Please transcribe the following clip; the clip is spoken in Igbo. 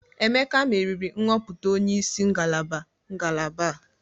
Emeka meriri nhọpụta onye isi ngalaba ngalaba.